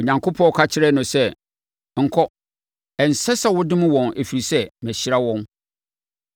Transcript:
Onyankopɔn ka kyerɛɛ no sɛ, “Nkɔ. Ɛnsɛ sɛ wodome wɔn, ɛfiri sɛ, mahyira wɔn!”